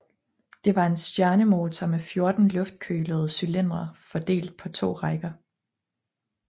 Det var en stjernemotor med 14 luftkølede cylindre fordelt på to rækker